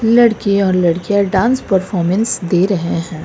लड़के और लड़कियां डांस परफॉर्मेंस दे रहे हैं।